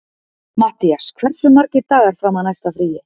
Mattías, hversu margir dagar fram að næsta fríi?